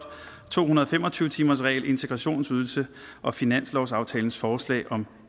to hundrede og fem og tyve timersregel integrationsydelse og finanslovsaftalens forslag om